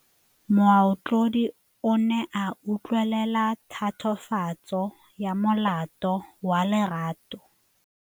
Moatlhodi o ne a utlwelela tatofatsô ya molato wa Lerato.